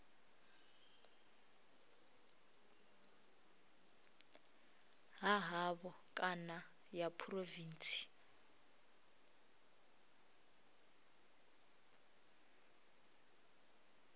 ha havho kana ya phurovintsi